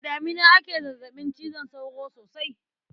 Da damina ake zazzaɓin cizon sauro sosai.